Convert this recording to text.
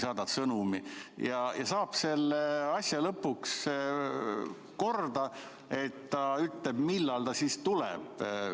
Saab selle asja lõpuks korda, et ta ütleb, millal ta siis tuleb.